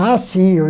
Ah, sim.